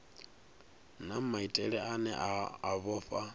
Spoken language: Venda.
na maitele ane a vhofha